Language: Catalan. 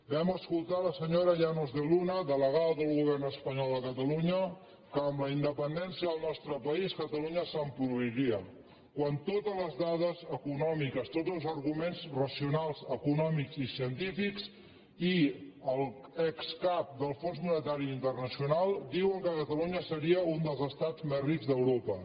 vam escoltar la senyora llanos de luna delegada del govern espanyol a catalunya que amb la independència del nostre país catalunya s’empobriria quan totes les dades econòmiques tots els arguments racionals econòmics i científics i l’excap del fons monetari internacional diuen que catalunya seria un dels estats més rics d’europa